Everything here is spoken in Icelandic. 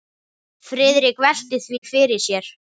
Friðrik velti því fyrir sér.